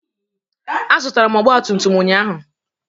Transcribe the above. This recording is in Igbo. Azụtara m ọgba tum tum ụnyaahụ